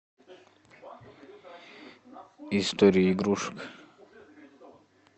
история игрушек